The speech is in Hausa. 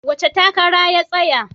Wace takara ya tsaya?